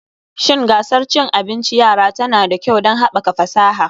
Shin gasar cin abinci yara tana da kyau don haɓaka fasaha